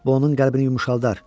Bu onun qəlbini yumşaldar.